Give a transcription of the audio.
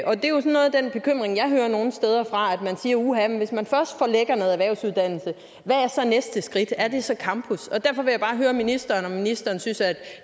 den bekymring jeg hører nogle steder fra man siger uha hvis man først forlægger noget erhvervsuddannelse hvad er så næste skridt er det så campus derfor vil jeg bare høre ministeren om ministeren synes at